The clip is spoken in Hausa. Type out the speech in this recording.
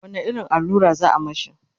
wani irin allura za'a mashi?